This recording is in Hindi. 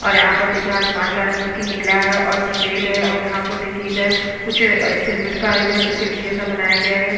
और यहाँ पर देखिये आसमान का रंग भी नीला है और सफेद है और यहाँ पर देखिये इधर कुछ सीमेंट का इधर सीढी जैसा बनाया गया है।